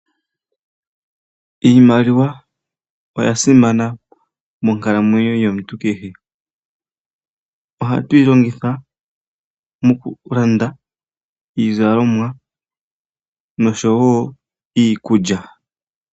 Iimaliwa oya simana monkalamwenyo yomuntu kehe. Ohatu yi longitha okulanda iizalomwa, oshowo iikulya.